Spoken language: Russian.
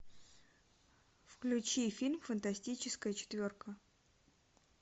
включи фильм фантастическая четверка